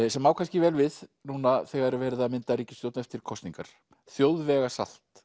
sem á kannski vel við núna þegar er verið að mynda ríkisstjórn eftir kosningar